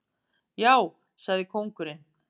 Já, sagði kóngurinn.